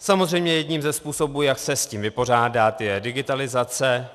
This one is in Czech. Samozřejmě jedním ze způsobů, jak se s tím vypořádat, je digitalizace.